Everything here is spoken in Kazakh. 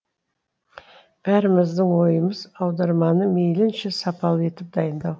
бәріміздің ойымыз аударманы мейлінше сапалы етіп дайындау